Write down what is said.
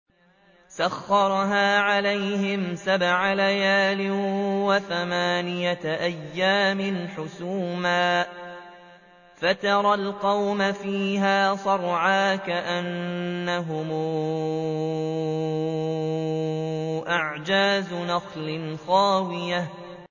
سَخَّرَهَا عَلَيْهِمْ سَبْعَ لَيَالٍ وَثَمَانِيَةَ أَيَّامٍ حُسُومًا فَتَرَى الْقَوْمَ فِيهَا صَرْعَىٰ كَأَنَّهُمْ أَعْجَازُ نَخْلٍ خَاوِيَةٍ